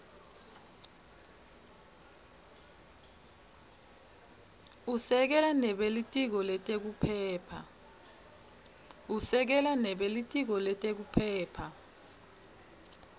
usekela nebelitiko letekuphepha